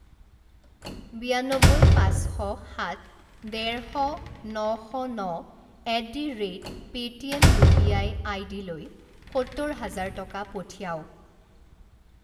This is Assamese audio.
বিয়ান্নব্বৈ পাঁচ শ সাত ডেৰ শ ন শ ন at the rate Paytm U P I আইডিলৈ সত্তৰ হাজাৰ টকা পঠিৱাওক।